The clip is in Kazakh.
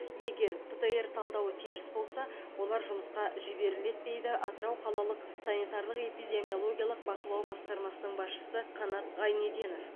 егер птр талдауы теріс болса олар жұмысқа жіберіледі дейді атырау қалалық санитарлық эпидемиологиялық бақылау басқармасының басшысы қанат ғайнеденов